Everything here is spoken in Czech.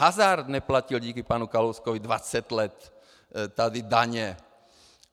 Hazard neplatil díky panu Kalouskovi 20 let tady daně.